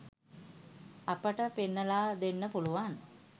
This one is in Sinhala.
අපට පෙන්නලා දෙන්න පුළුවන්.